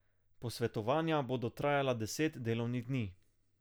Posvetovanja bodo trajala deset delovnih dni.